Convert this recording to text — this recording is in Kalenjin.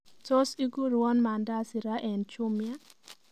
Tos igurwon mandasi raa eng chumia